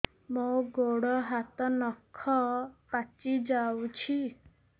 ମୋର ଗୋଡ଼ ହାତ ନଖ ପାଚି ଯାଉଛି